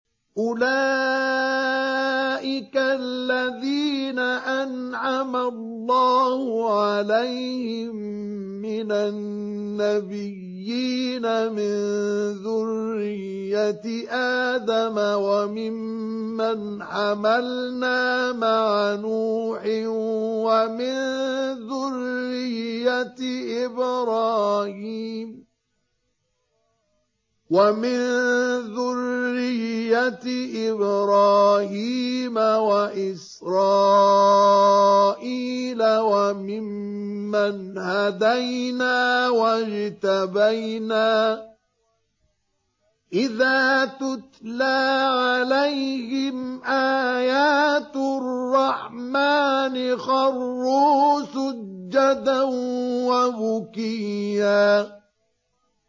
أُولَٰئِكَ الَّذِينَ أَنْعَمَ اللَّهُ عَلَيْهِم مِّنَ النَّبِيِّينَ مِن ذُرِّيَّةِ آدَمَ وَمِمَّنْ حَمَلْنَا مَعَ نُوحٍ وَمِن ذُرِّيَّةِ إِبْرَاهِيمَ وَإِسْرَائِيلَ وَمِمَّنْ هَدَيْنَا وَاجْتَبَيْنَا ۚ إِذَا تُتْلَىٰ عَلَيْهِمْ آيَاتُ الرَّحْمَٰنِ خَرُّوا سُجَّدًا وَبُكِيًّا ۩